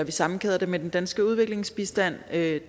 vi sammenkæder det med den danske udviklingsbistand det